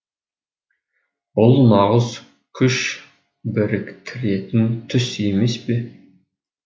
бұл нағыз күш біріктіретін түс емес пе